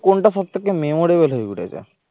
কোনটা সব থেকে memorable হয়ে উঠেছে?